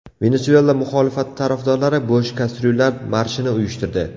Venesuela muxolifati tarafdorlari bo‘sh kastryullar marshini uyushtirdi.